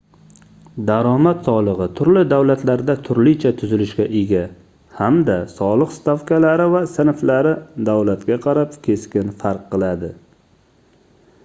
daromad soligʻi turli davlatlarda turlicha tuzilishga ega hamda soliq stavkalari va sinflari davlatga qarab keskin farq qiladi